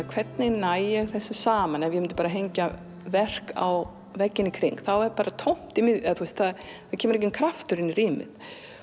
hvernig næ ég þessu saman ef ég myndi bara hengja verk á veggina í kring þá er bara tómt í miðjunni það er kemur enginn kraftur inn í rýmið